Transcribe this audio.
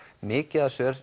mikið af